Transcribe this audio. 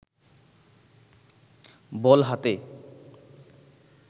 বল হাতে